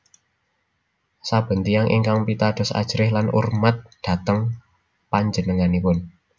Saben tiyang ingkang pitados ajrih lan urmat dhateng panjenenganipun